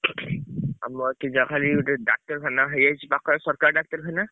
ଆମ ଏଠି ଯାହା ବି ଗୋଟେ ଡାକ୍ତରଖାନା ହେଇଯାଇଛି ପାଖରେ ସରକାରୀ ଡାକ୍ତରଖାନା।